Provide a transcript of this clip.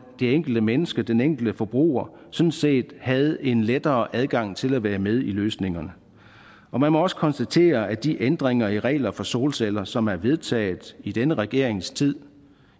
enkelte menneske den enkelte forbruger sådan set havde en lettere adgang til at være med i løsningerne og man må også konstatere at de ændringer i regler for solceller som er vedtaget i denne regerings tid